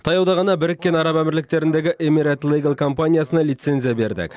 таяуда ғана біріккен араб әмірліктеріндегі эмират лигал компаниясына лицензия бердік